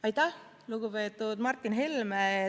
Aitäh, lugupeetud Martin Helme!